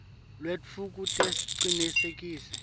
lwetfu kute sicinisekise